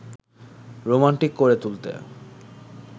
romantic করে তুলতে